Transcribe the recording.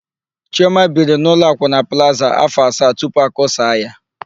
Chiọma biri n'ụlọ akwụna Plaza áfọ̀ asaa tupu akụsaa ya.